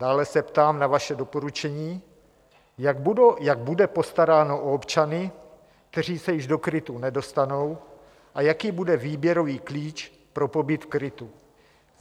Dále se ptám na vaše doporučení, jak bude postaráno o občany, kteří se již do krytu nedostanou, a jaký bude výběrový klíč pro pobyt v krytu.